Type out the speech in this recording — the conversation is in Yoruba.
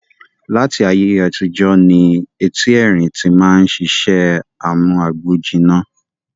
Láti ayé àtijọ́ ní eti erín tí máa ń sisẹ́ amú agbòjiná